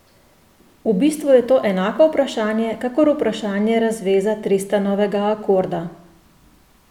V bistvu je to enako vprašanje kakor vprašanje razveza Tristanovega akorda.